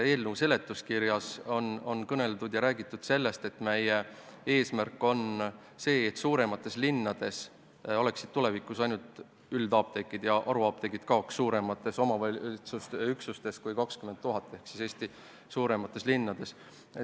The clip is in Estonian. Eelnõu seletuskirjas on kõneldud sellest, et meie eesmärk on see, et suuremates linnades oleksid tulevikus ainult üldapteegid ja et haruapteegid kaoks nendest omavalitsusüksustest, kus on rohkem kui 20 000 elanikku, ehk Eesti suurematest linnadest.